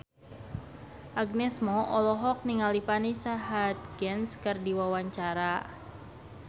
Agnes Mo olohok ningali Vanessa Hudgens keur diwawancara